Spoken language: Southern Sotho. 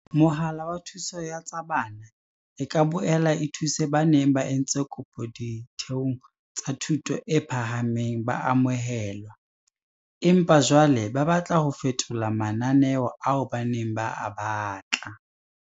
CACH e ka boela e thuse ba neng ba entse kopo ditheong tsa thuto e phahameng ba amohelwa, empa jwale ba batla ho fetola mananeo ao ba neng ba a batla.